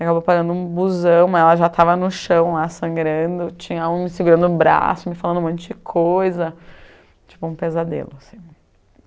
Acabou parando um busão, mas ela já estava no chão lá sangrando, tinha alguém me segurando no braço, me falando um monte de coisa, tipo um pesadelo assim.